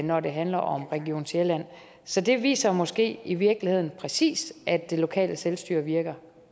når det handler om region sjælland så det viser måske i virkeligheden præcis at det lokale selvstyre virker